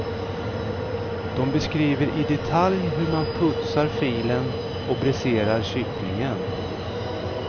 De beskriver i detalj hur man putsar filen och bräserar kycklingen.